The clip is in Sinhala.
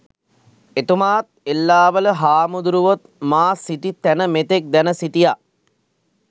එතුමාත් එල්ලාවල හාමුදුරුවොත් මා සිටි තැන මෙතෙක් දැන සිටියා